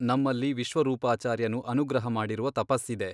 ನಮ್ಮಲ್ಲಿ ವಿಶ್ವರೂಪಾಚಾರ್ಯನು ಅನುಗ್ರಹ ಮಾಡಿರುವ ತಪಸ್ಸಿದೆ.